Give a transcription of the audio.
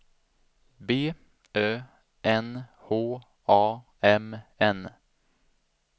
B Ö N H A M N